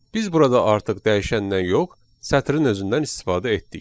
Biz burada artıq dəyişəndən yox, sətrin özündən istifadə etdik.